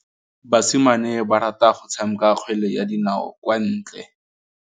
Basimane ba rata go tshameka kgwele ya dinaô kwa ntle.